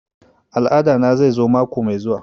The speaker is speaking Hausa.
Al'ada na zai zo mako mai zuwa